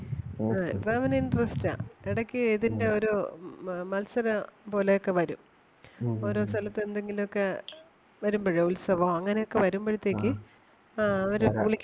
ആ ഇപ്പം അവന് interest ആ. എടയ്ക്ക് ഇതിൻ്റെ ഒരു മ~മത്സരം പോലെ ഒക്കെ വരും ഓരോ സ്ഥലത്ത് എന്തെങ്കിലുമൊക്കെ വരുമ്പഴേ ഉത്സവോ അങ്ങനെ ഒക്കെ വരുമ്പഴത്തേക്ക് ആഹ് അവര് വിളിക്കും.